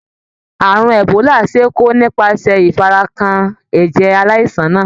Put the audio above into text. Àrùn Ebola ṣe é kó nípasẹ̀ ìfarakàn ẹ̀jẹ̀ aláìsàn náà.